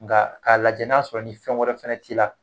Nka k'a lajɛ n'a sɔrɔ ni fɛn wɛrɛ fana t'i la